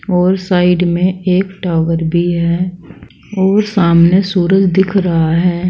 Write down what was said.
और साइड में एक टावर भी है और सामने सूरज दिख रहा है।